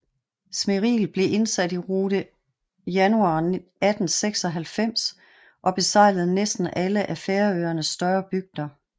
Smiril blev indsat i rute januar 1896 og besejlede næsten alle af Færøernes større bygder